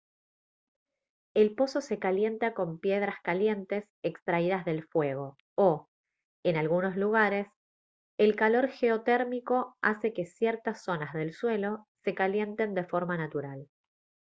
el pozo se calienta con piedras calientes extraídas del fuego o en algunos lugares el calor geotérmico hace que ciertas zonas del suelo se calienten de forma natural